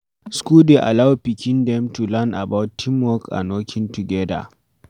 School dey allow pikin dem to learn about team work and working together